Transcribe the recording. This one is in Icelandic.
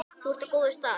Þú ert á góðum stað.